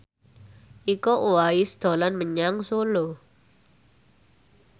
Iko Uwais dolan menyang Solo